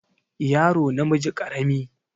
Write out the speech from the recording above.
yaro namiji karami